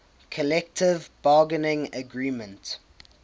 collective bargaining agreement